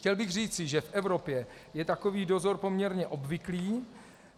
Chtěl bych říci, že v Evropě je takový dozor poměrně obvyklý.